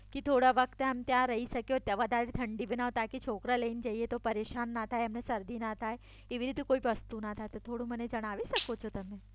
કે થોડા વખત ત્યાં રહી સકીઓ ત્યાં વધારે ઠંડી હોય તો છોકરા લઈને જઈએ તો પરેશાન ના થાય એમને શરદી ના થાય એવી કોઈ વસ્તુ ના થાય તો થોડું મને જણાવી સકો છો તમે